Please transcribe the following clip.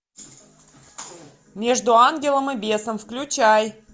между ангелом и бесом включай